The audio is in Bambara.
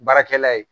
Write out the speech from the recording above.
Baarakɛla ye